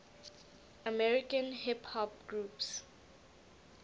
american hip hop groups